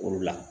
Olu la